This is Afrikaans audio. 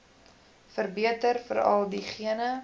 verbeter veral diegene